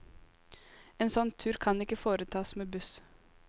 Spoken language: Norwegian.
En sånn tur kan ikke foretas med buss.